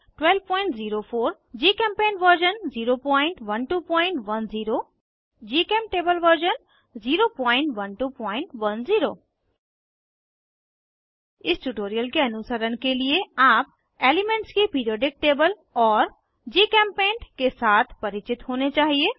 04 GChemPaint version 01210 GChemTable version 01210 इस tutorial के अनुसरण के लिए आप एलीमेन्ट्स की पिरिऑडिक टेबल और जीचेम्पेंट के साथ परिचित होने चाहिए